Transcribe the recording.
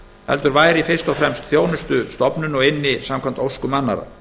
heldur væri fyrst og fremst þjónustustofnun og ynni samkvæmt óskum annarra